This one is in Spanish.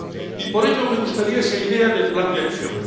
Y por ello, me gustaría esa idea del plan de acción.